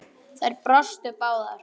Þær brostu báðar.